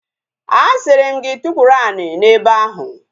A sịrị m gị tukwuru ani n'ebe ahu!